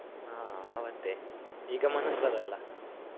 ಹಾ ಆವತ್ತೇ, ಈಗ ಮನಸ್ಸ್ ಬರಲ್ಲ.